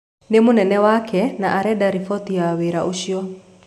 Nĩ mũnene wake, na arenda riboti ya wĩra ũcio.